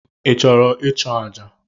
I chụrụ ịchụ aja?